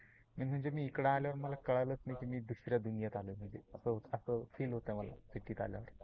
Main म्हणजे मी इकड आल्यावर मला कळलाच नाही की दुसऱ्या दुनियेत आलो म्हणजे, अस अस फील होत मला सीटी आल्यावर.